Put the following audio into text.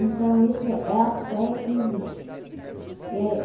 Então, essa é a fé que existe é é.